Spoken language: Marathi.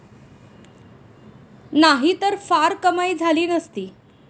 नाहीतर फार कमाई झाली नसती.